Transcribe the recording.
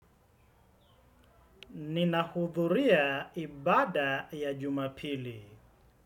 Nina hudhuria ibada ya jumapili.